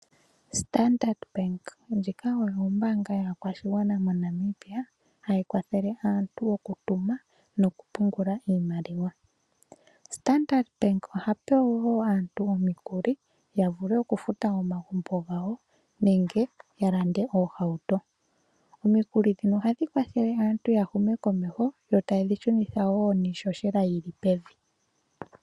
Standard Bank ndjika oyo ombaanga yaakwashigwana moNamibia hayi kwathele aantu okutuma nokupungula iimaliwa. Standard Bank ohape wo aantu omikuli ya vule okufuta omagumbo gawo nenge ya lande oohauto. Omikuli ndhino ohadhi kwathele aantu ya hume komeho yo taye dhi shunitha wo niishoshela yili pevi.